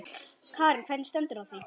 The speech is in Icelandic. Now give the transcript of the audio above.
Karen: Hvernig stendur á því?